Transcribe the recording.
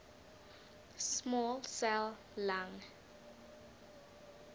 small cell lung